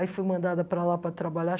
Aí fui mandada para lá para trabalhar.